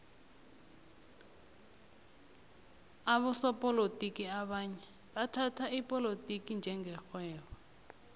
abosopolotiki abanye bathhatha ipolotiki njenge rhwebo